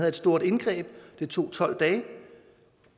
et stort indgreb som tog tolv dage